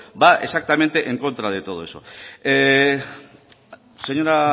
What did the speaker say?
va exactamente en contra de todo eso señora